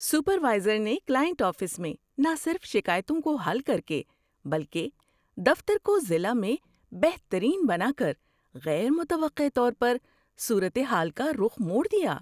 Supervisor نے client office میں نہ صرف شکایتوں کو حل کر کے بلکہ دفتر کو ضلع میں بہترین بنا کر غیر متوقع طور پر صورت حال کا رخ موڑ دیا۔